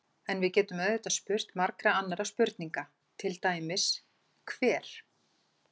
En við getum auðvitað spurt margra annarra spurninga, til dæmis: Hver?